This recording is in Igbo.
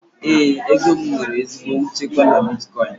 Éè, ego m nwere ezigbo nchekwa na bitkọin